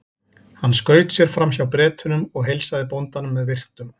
Hann skaut sér fram hjá Bretunum og heilsaði bóndanum með virktum.